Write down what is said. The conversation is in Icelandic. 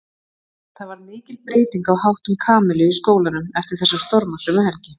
Það varð mikil breyting á háttum Kamillu í skólanum eftir þessa stormasömu helgi.